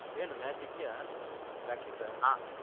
ಹ್ಮ್, ಏನು match ಇದ್ಯಾ practice ?